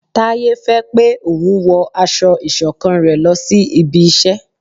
Taye fẹ pé òun wọ aṣọ iṣọ̀kan rẹ lòsí ibí iṣẹ